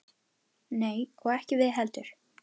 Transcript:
Nei og ekki við heldur.